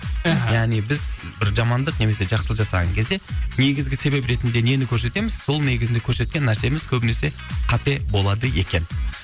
яғни біз бір жамандық немесе жақсылық жасаған кезде негізгі себеп ретінде нені көрсетеміз сол негізінде көрсеткен нәрсеміз көбінесе қате болады екен